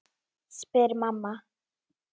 spyr mamma.